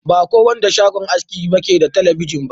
Ba ko wanda shagon aski ne ke da telebijin ba.